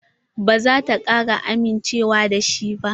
Ba za ta kara amincewa da shi ba.